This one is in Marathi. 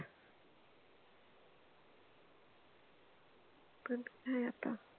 पण काय आता